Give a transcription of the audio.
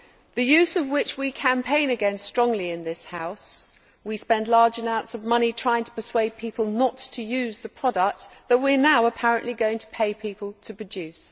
the use of which we campaign against strongly in this House. We spend large amounts of money trying to persuade people not to use the product that we are now apparently going to pay people to produce.